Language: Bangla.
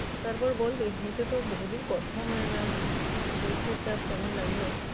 তারপর বল, এমনিতে তো বহুদিন কথা হয় না পরীক্ষার চাপ কেমন লাগলো?